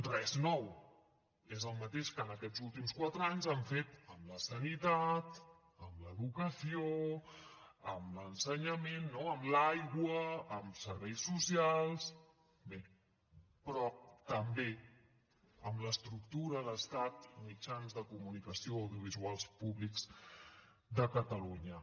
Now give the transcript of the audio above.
res nou és el mateix que en aquests últims quatre anys han fet amb la sanitat amb l’educació amb l’ensenyament no amb l’aigua amb serveis socials bé però també amb l’estructura d’estat mitjans de comunicació audiovisuals públics de catalunya